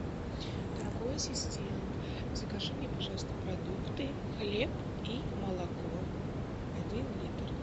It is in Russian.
дорогой ассистент закажи мне пожалуйста продукты хлеб и молоко один литр